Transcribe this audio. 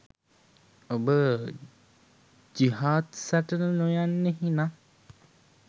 ඔබ ජිහාද් සටනට නොයන්නෙහි නම්